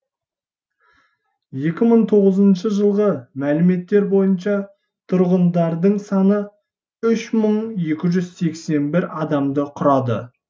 екі мың тоғызыншы жылғы мәліметтер бойынша тұрғындардың саны үш мың екі жүз сексен бір адамды құрады